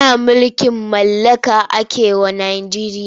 Da mulkin mallaka ake wa Najeriya.